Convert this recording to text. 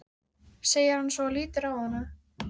segir hann svo og lítur á hana.